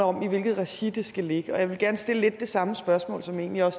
om i hvilket regi det skal ligge og jeg vil gerne stille det samme spørgsmål som jeg